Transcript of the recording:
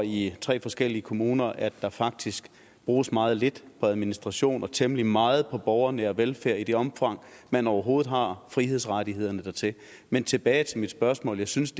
år i tre forskellige kommuner at der faktisk bruges meget lidt på administration og temmelig meget på borgernær velfærd i det omfang man overhovedet har frihedsrettighederne dertil men tilbage til mit spørgsmål jeg synes